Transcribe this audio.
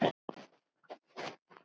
Allt gerist með töfrum.